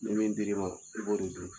Ni min dir'i ma i b'o de dun.